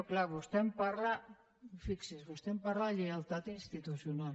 clar vostè em parla fixi’s de lleialtat institucional